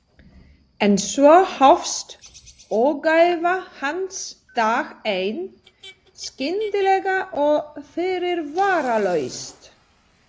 En svo hófst ógæfa hans dag einn, skyndilega og fyrirvaralaust.